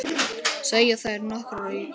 segja þær nokkrar í kór.